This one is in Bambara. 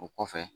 O kɔfɛ